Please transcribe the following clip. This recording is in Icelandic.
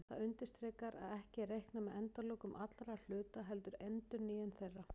Það undirstrikar að ekki er reiknað með endalokum allra hluta heldur endurnýjun þeirra.